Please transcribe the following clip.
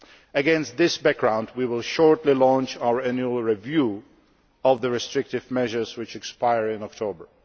Against this background we will shortly launch our annual review of the restrictive measures which expire in October.